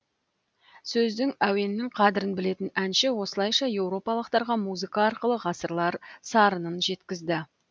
сөздің әуеннің қадірін білетін әнші осылайша еуропалықтарға музыка арқылы ғасырлар сарынын жеткізді